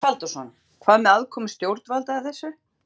Magnús Halldórsson: Hvað með aðkomu stjórnvalda að þessu?